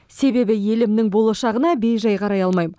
себебі елімнің болашағына бейжай қарай алмаймын